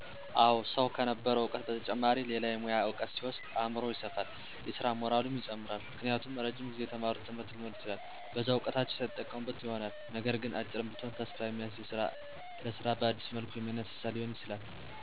አወ ሰዉ ከነበረዉ እዉቀት በተጨማሪ ሌላ የሙያ እዉቀት ሲወስድ አምሮዉ ይሰፋል የስራ ሞራሉም ይጨምራል። ምክንያቱም እረጅም ጊዜ የተማሩት ትምህርት ሊኖር ይችላል በዛ እዉቀታቸዉ ሳይጠቀሙበት ይሆናልነገር ግን "አጭርም ብትሆን ተስፋ የሚያስዝ ለስራ በአዲስ መልኩ የሚያነሳሳ" ሊሆን ይችላል በሌላም መልኩ "አጫጭር ስልጠና ወስደዉ ለስራ የበቁ ያዩ ይሆናል" እነዛም መልካም አርያ ይሆኗቸዋል። ደግሞም የበፊቱን እዉቀት መጠቀም ሲችሉ በአግባቡ ሳይጠቀሙበት ቀርተዉ ሊሆን ይችላል ስለዚህ፦< ያንን እድል በድጋሜ በትንሽ መልኩ ሲያገኙት> በአግባብ ይጠቀሙበታል።